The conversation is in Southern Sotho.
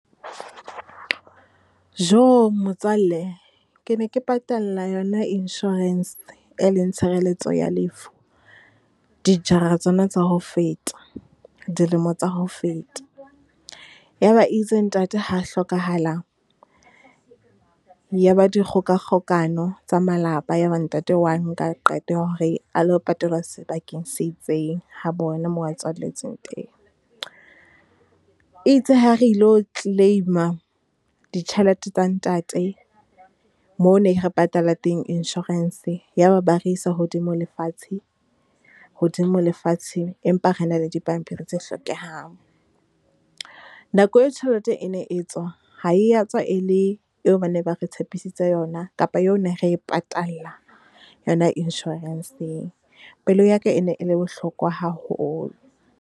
Jo motswalle, ke ne ke patalla yona insurance e leng tshireletso ya lefu, dijara tsona tsa ho feta, dilemo tsa ho feta. Ya ba e itse ntate ha a hlokahala, ya ba dikgokakgokano tsa malapa, ya ba ntate o wa nka qeto ya hore a lo patalwa sebakeng se itseng, ha bona moo a tswalletsweng teng. E itse ha re lo claim-a ditjhelete tsa ntate moo ne re patala teng insurance, ya ba ba re isa hodimo le fatshe, hodimo lefatshe, empa re na le dipampiri tse hlokehang. Nako e tjhelete e ne e tswa, ha e ya tswa e le eo ba ne ba re tshepisitseng yona kapa eo ne re e patala yona insurance-eng. Pelo ya ka e ne e le bohloko haholo.